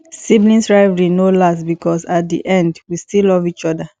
sibling rivalry no last because at di end we still love each other